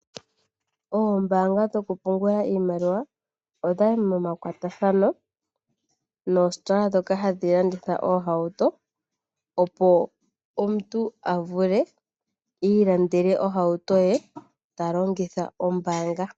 Oombaanga dhoku pungula iimaliwa odhayi momakwatathano noositola ndhoka hadhi landitha oohauto opo omuntu avule iilandele ohauto ye talongitha ombaanga.